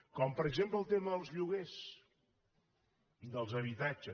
com per exemple el tema dels lloguers dels habitatges